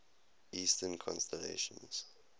eastern constellations